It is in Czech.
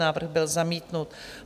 Návrh byl zamítnut.